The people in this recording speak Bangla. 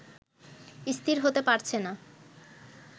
স্থির হতে পারছে না